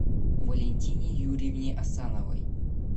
валентине юрьевне асановой